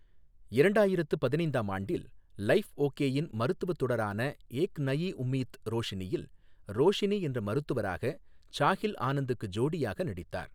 இரண்டாயிரத்து பதினைந்தாம் ஆண்டில் லைஃப் ஓகேயின் மருத்துவத் தொடரான ஏக் நயி உம்மீட் ரோஷினியில், ரோஷினி என்ற மருத்துவராக சாஹில் ஆனந்துக்கு ஜோடியாக நடித்தார்.